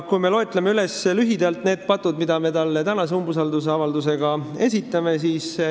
Loetlen lühidalt need patud, mida me tänases umbusaldusavalduses esitame.